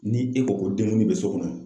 Ni e ko ko denkɛnin be so kɔnɔ